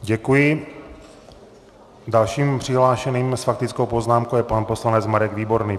Děkuji, dalším přihlášeným s faktickou poznámkou je pan poslanec Marek Výborný.